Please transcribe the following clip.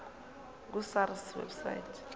ku sars website